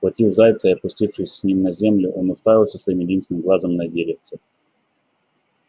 схватив зайца и опустившись с ним на землю он уставился своим единственным глазом на деревце